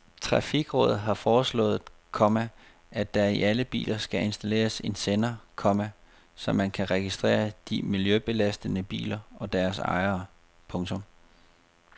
Trafikrådet har foreslået, komma at der i alle biler skal installeres en sender, komma så man kan registrere de miljøbelastende biler og deres ejere. punktum